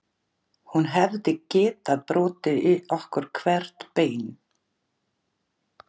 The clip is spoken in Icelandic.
Hún hefði getað brotið í okkur hvert bein